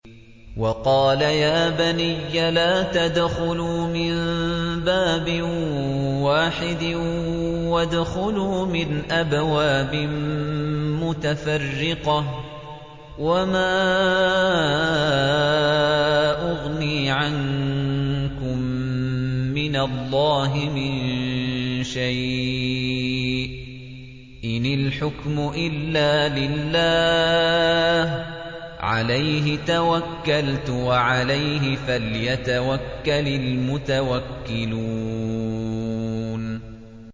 وَقَالَ يَا بَنِيَّ لَا تَدْخُلُوا مِن بَابٍ وَاحِدٍ وَادْخُلُوا مِنْ أَبْوَابٍ مُّتَفَرِّقَةٍ ۖ وَمَا أُغْنِي عَنكُم مِّنَ اللَّهِ مِن شَيْءٍ ۖ إِنِ الْحُكْمُ إِلَّا لِلَّهِ ۖ عَلَيْهِ تَوَكَّلْتُ ۖ وَعَلَيْهِ فَلْيَتَوَكَّلِ الْمُتَوَكِّلُونَ